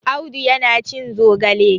Audu yana cin zogale.